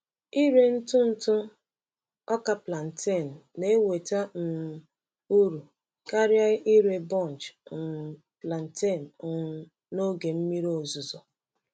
Ịre ntụ ntụ ọka plantain na-eweta um uru karịa ire bunch um plantain um n’oge mmiri ozuzo.